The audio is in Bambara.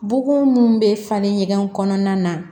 Bugun mun bɛ falen ɲɔgɔn na